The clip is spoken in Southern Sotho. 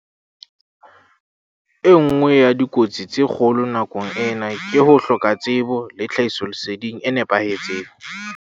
E nngwe ya dikotsi tse kgolo nakong ena ke ho hloka tsebo le tlhahisoleseding e fosahetseng.